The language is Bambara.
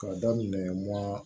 K'a daminɛ wa